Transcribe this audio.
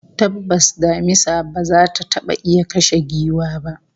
Tabbas damisa ba za ta taba iya kashe giwa ba